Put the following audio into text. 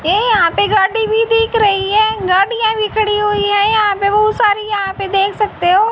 यहां पर गाड़ी भी दिख रही है गाड़ियां भी खड़ी हुई है। यहां पर बहुत सारी यहां पर देख सकते हो--